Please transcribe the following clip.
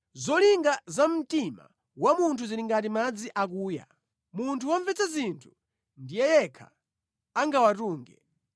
Zolinga za mtima wa munthu zili ngati madzi akuya, munthu womvetsa zinthu ndiye yekha angawatunge.